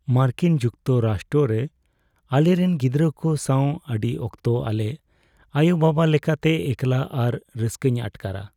ᱢᱟᱨᱠᱤᱱ ᱡᱩᱠᱛᱚᱨᱟᱥᱴᱚ ᱨᱮ ᱟᱞᱮᱨᱮᱱ ᱜᱤᱫᱽᱨᱟᱹ ᱠᱚ ᱥᱟᱶ, ᱟᱹᱰᱤ ᱚᱠᱛᱚ ᱟᱞᱮ ᱟᱭᱳᱼᱵᱟᱵᱟ ᱞᱮᱠᱟᱛᱮ ᱮᱠᱞᱟ ᱟᱨ ᱨᱟᱹᱥᱠᱟᱹᱧ ᱟᱴᱠᱟᱨᱟ ᱾